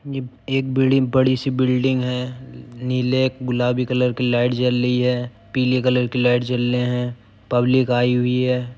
ये एक बीड़ी बड़ी सी बिल्डिंग है। नीले गुलाबी कलर की लाइट जल रही है पीले कलर की लाइट जल रही है। पब्लिक आई हुई है।